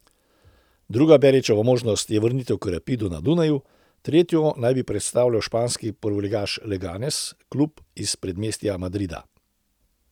Druga Berićeva možnost je vrnitev k Rapidu na Dunaj, tretjo naj bi predstavljal španski prvoligaš Leganes, klub iz predmestja Madrida.